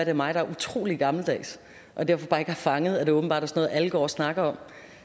er mig der er utrolig gammeldags og derfor bare ikke har fanget at det åbenbart er alle går snakker om